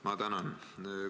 Ma tänan!